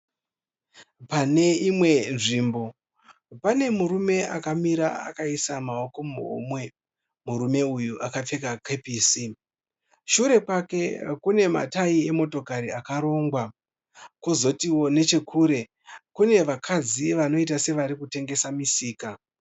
Pane imwe nzvimbo pane murume akamira akaisa maoko muhomwe. Murume uyu akapfeka kepisi. Shure kwake kune matayi emotokari akarongwa. Kozoti nechekure kune vakadzi vanoita sevari kutengesa misika.